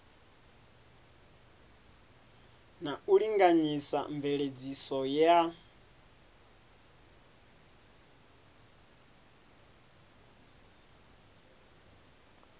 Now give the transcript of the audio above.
na u linganyisa mveledziso ya